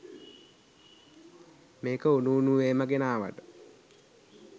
මේක උණු උණුවේම ගෙනාවට.